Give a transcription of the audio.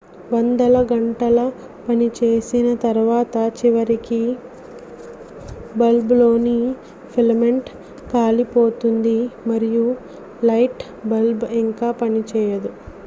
వందల గంటల పనిచేసిన తరువాత చివరికి బల్బ్లోని ఫిలమెంట్ కాలిపోతుంది మరియు లైట్ బల్బ్ ఇంక పనిచేయదు